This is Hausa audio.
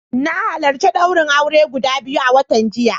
Na halarci daurin aure guda biyu a watan jiya.